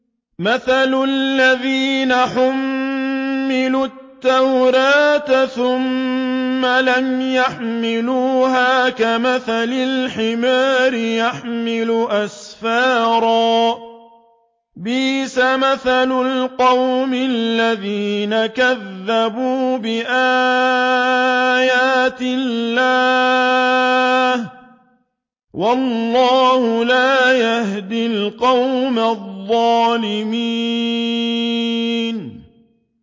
مَثَلُ الَّذِينَ حُمِّلُوا التَّوْرَاةَ ثُمَّ لَمْ يَحْمِلُوهَا كَمَثَلِ الْحِمَارِ يَحْمِلُ أَسْفَارًا ۚ بِئْسَ مَثَلُ الْقَوْمِ الَّذِينَ كَذَّبُوا بِآيَاتِ اللَّهِ ۚ وَاللَّهُ لَا يَهْدِي الْقَوْمَ الظَّالِمِينَ